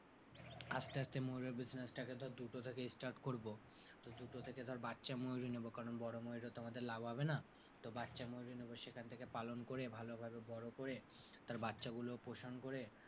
আসতে আসতে ময়ূরের business টাকে ধর দুটো থেকে start করবো, তো দুটো থেকে ধর বাচ্চা ময়ূরই নেব কারণ বড়ো ময়ূরে তো আমাদের লাভ হবে না, তো বাচ্চা ময়ূরই নেব। সেখান থেকে পালন করে ভালো ভাবে বড়ো করে তার বাচ্চাগুলো পোষণ করে তার,